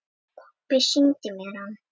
Pabbi sýndi mér hann.